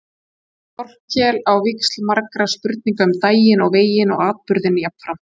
Þórkel á víxl margra spurninga um daginn og veginn og atburðinn jafnframt.